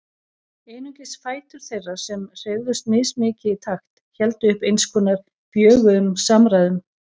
Einungis fætur þeirra, sem hreyfðust mismikið í takt, héldu uppi eins konar bjöguðum samræðum.